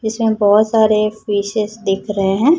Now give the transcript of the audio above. जिसमें बहोत सारे पीसेस दिख रहे हैं।